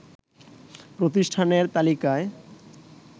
প্রতিষ্ঠানের তালিকায়